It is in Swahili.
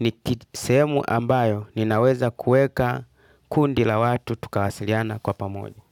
ni sehemu ambayo ninaweza kuweka kundi la watu tukawasiliana kwa pamoja.